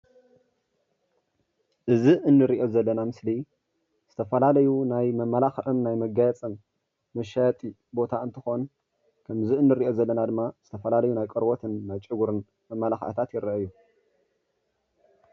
እዚ እንሪኦ ዘለና ምስሊ ዝተፈላለዩ ናይ መማላክዕን ናይ መጋየፅን መሻየጢ ቦታ እንትኮን ከምዚ እንሪኦ ዘለና ድማ ዝተፈላለዩ ናይ ቆርበትን ናይ ጨጉርን መማላክዒታት ይረኣዩ፡፡